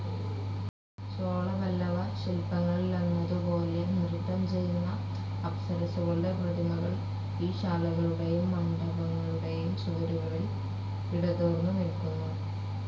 ചോളപല്ലവശില്പങ്ങളിലെന്നതുപോലെ നൃത്തംചെയ്യുന്ന അപ്സരസ്സുകളുടെ പ്രതിമകൾ ഈ ശാലകളുടെയും മണ്ഡപങ്ങളുടെയും ചുവരുകളിൽ ഇടതൂർന്നുനില്ക്കുന്നു.